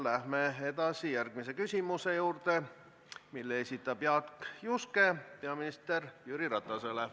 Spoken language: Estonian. Läheme järgmise küsimuse juurde, mille esitab Jaak Juske peaminister Jüri Ratasele.